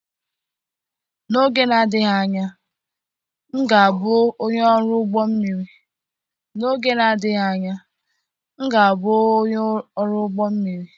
N'oge na-adịghị anya, m ga-abụ onye ọrụ ụgbọ mmiri.